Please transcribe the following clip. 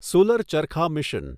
solar ચરખા mission